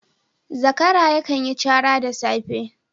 Zakara yakan yi cara da safe